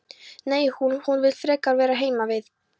Nei, hún. hún vill frekar vera heima við.